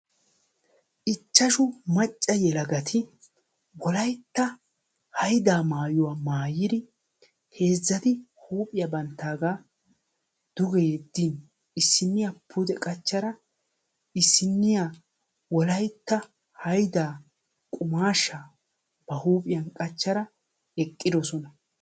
Ichchashshu macca yelagati wolaytta haydda maayyuwaa maayyir heezzati huuphiyaa banttaaga duge yedin issiniyaa qumaashsha maayyaan issiniya pude qachchada wolaytta haydda qummaashsha ba huuphiyan qachchada eqqidoosona.